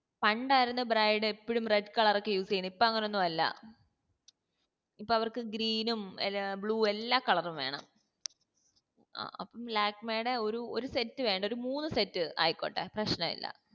പാണ്ടാർന്നു bride ഏപ്പോഴും red colour ഒക്കെ use ചെയ്യിന്ന് ഇപ്പൊ അങ്ങനെ ഒന്നുവല്ല ഇപ്പൊ അവർക്ക് green ഉം അലാ blue എല്ലാ colour ഉം വേണം ആ അപ്പൊ ലാക്മെടെ ഒരു ഒരു set വേണ്ട ഒരു മൂന്ന് set ആയിക്കോട്ടെ പ്രശ്‌നല്ല